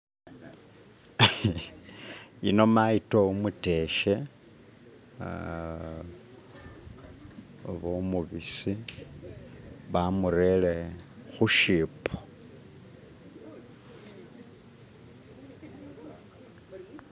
yino mayito umuteshe oba umubisi bamurere hushipo